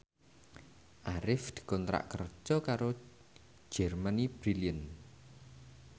Arif dikontrak kerja karo Germany Brilliant